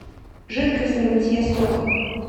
жидкость для мытья стекол